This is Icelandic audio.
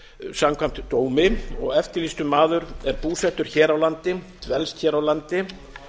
samkvæmt dómi og eftirlýstur maður er búsettur hér á landi dvelst hér á landi